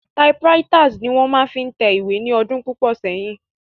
Typewriters ni wón máa fi ń tẹ ìwé ní ọdún púpọ̀ sẹ́yìn.